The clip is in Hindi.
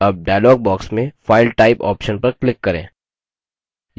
अब dialog box में file type option पर click करें